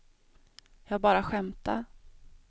jag bara skämtade